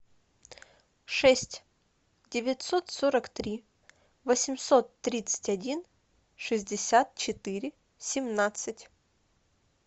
шесть девятьсот сорок три восемьсот тридцать один шестьдесят четыре семнадцать